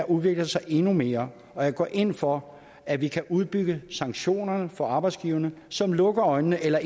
udvikler sig endnu mere og jeg går ind for at vi kan udbygge sanktionerne for arbejdsgiverne som lukker øjnene eller